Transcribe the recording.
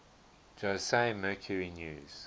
jose mercury news